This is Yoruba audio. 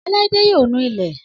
Ọláídé yóò nu ilé.